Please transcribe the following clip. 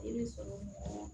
I bɛ sɔrɔ